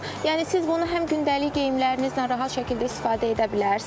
Yəni siz bunu həm gündəlik geyimlərinizlə rahat şəkildə istifadə edə bilərsiniz.